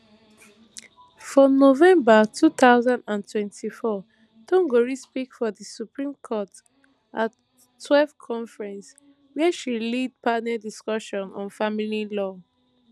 for november two thousand and twenty-four thongori speak for di supreme court at twelve conference wia she lead panel discussion on family law